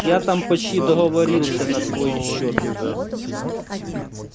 я там почти договорился на твой счёт уже